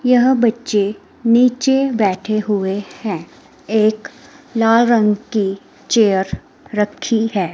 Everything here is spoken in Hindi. यह बच्चे नीचे बैठे हुए हैं एक लाल रंग की चेयर रखी है।